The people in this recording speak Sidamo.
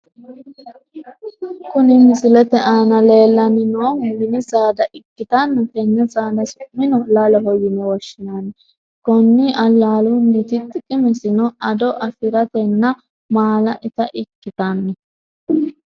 Kuni misilete aana lellanni noohu mini saada ikitanna tenne saada su'mino laloho yine woshshinanni, konni lalunniti xiqimesino ,ado afiratenna maala ita ikkitanno.